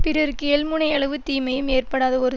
பிறருக்கு எள்முனையளவு தீமையும் ஏற்படாத ஒரு